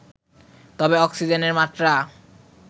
তবে অক্সিজেনের মাত্রা